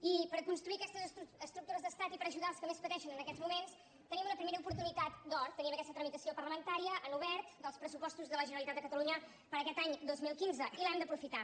i per construir aquestes estructures d’estat i per aju·dar els que més pateixen en aquests moments tenim una primera oportunitat d’or tenim aquesta tramitació parlamentària en obert dels pressupostos de la ge·neralitat de catalunya per a aquest any dos mil quinze i l’hem d’aprofitar